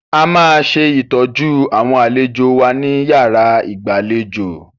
A máa ṣe ìtọ́jú àwọn àlejò wa ní yàrá ìgbàlejò.